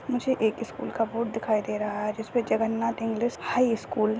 मुझे एक स्कूल का बोर्ड दिखाई दे रहा है जिसपे जगन्नाथ इंग्लिश हाई स्कूल --